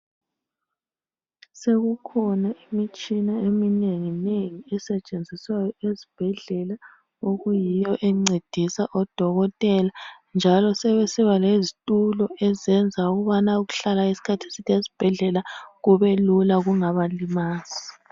Sekukhona imitshina eminengi nengi esetshenziswayo esibhedlela .Okuyiyo encedisa odokotela njalo sebesiba lezitulo ezenza ukubana ukuhlala isikhathi eside esibhedlela kube lula kungabalimazi.